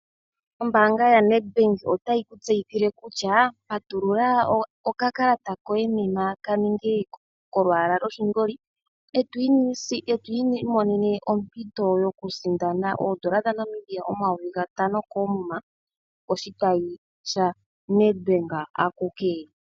Ombaanga yaNedBank otayi kutseyithile kutya patulula okakalata koye nena kaninge kolwaala lwoshingoli eto imonene ompito yokusindana oodola dhaNamibia omayovi gatano koomuma koshitayi shaNedBank akuke.